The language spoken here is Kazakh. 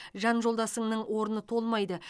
жан жолдасыңның орны толмайды